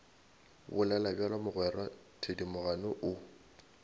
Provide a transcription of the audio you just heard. bolela bjalo mogwera thedimogane o